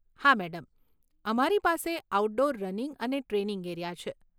હા, મેડમ, અમારી પાસે આઉટડોર રનિંગ અને ટ્રેનિંગ એરિયા છે.